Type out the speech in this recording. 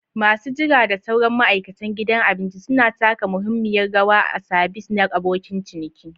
Masu jira da sauran ma'aikatan gidan abinci suna taka muhimmiyar rawa a sabis na abokin ciniki.